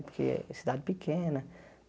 Porque é cidade pequena.